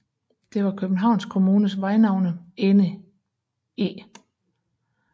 Det var Københavns Kommunes Vejnavnenævnet enig i